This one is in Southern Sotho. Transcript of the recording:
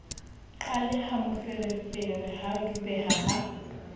qaleha moferefere ha dubeha ha